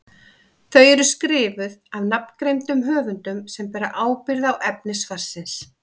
Þau eru skrifuð af nafngreindum höfundum sem bera ábyrgð á efni svarsins.